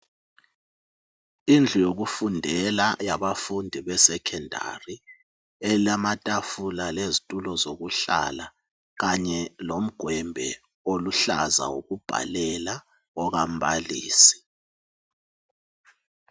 Indlu yokufundela yabafundi be Secondary elamatafula lezitulo zokuhlala kanye lomgwembe oluhlaza wokubhalela okambalisi.